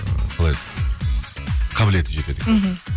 ыыы қалай еді қабілеті жетеді екен мхм